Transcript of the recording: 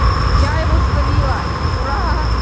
я его словила ура